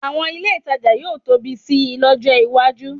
Àwọn ilé ìtajà yóò tóbi sí i lọ́jọ́ iwájú